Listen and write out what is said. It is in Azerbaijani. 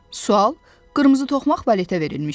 Sual qırmızı toxmaq valetə verilmişdi.